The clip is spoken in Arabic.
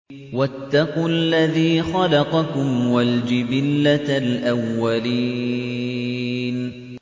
وَاتَّقُوا الَّذِي خَلَقَكُمْ وَالْجِبِلَّةَ الْأَوَّلِينَ